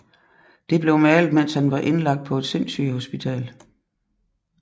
Det blev malet mens han var indlagt på et sindssygehospital